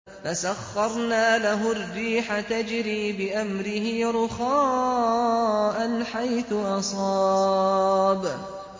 فَسَخَّرْنَا لَهُ الرِّيحَ تَجْرِي بِأَمْرِهِ رُخَاءً حَيْثُ أَصَابَ